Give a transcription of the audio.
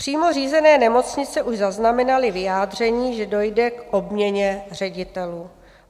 Přímo řízené nemocnice už zaznamenaly vyjádření, že dojde k obměně ředitelů.